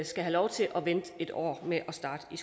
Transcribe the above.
skal have lov til at vente en år med at starte i